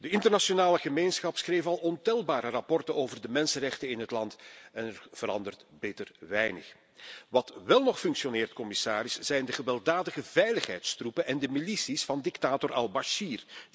De internationale gemeenschap schreef al ontelbare rapporten over de mensenrechten in het land en er verandert bitter weinig. Wat wel nog functioneert, zijn de gewelddadige veiligheidstroepen en de milities van dictator Al Bashir.